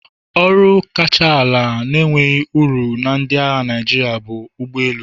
Ọkwa kacha ala na-enweghị ọrụ na ndị agha Naịjirịa bụ ụgbọ elu.